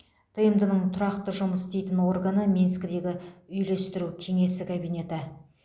тмд ның тұрақты жұмыс істейтін органы минскідегі үйлестіру кеңесі комитеті